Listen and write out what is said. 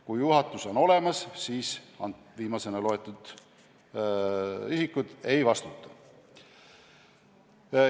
Kui juhatus on olemas, siis viimase nimetatud isikud ei vastuta.